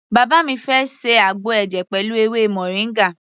Bàbá mi fẹ́ ṣe àgbo ẹ̀jẹ̀ pẹ̀lú ewé moringa.